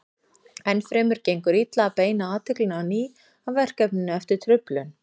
Enn fremur gengur illa að beina athyglinni á ný að verkefninu eftir truflun.